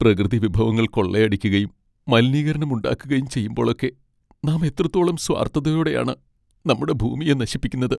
പ്രകൃതിവിഭവങ്ങൾ കൊള്ളയടിക്കുകയും മലിനീകരണം ഉണ്ടാക്കുകയും ചെയ്യുമ്പോളൊക്കെ നാം എത്രത്തോളം സ്വാർത്ഥതയോടെ ആണ് നമ്മുടെ ഭൂമിയെ നശിപ്പിക്കുന്നത്!